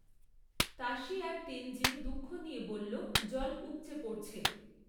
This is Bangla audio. তাশী আর তেনজিন দুঃখ নিয়ে বলল, জল উপচে পড়ছে!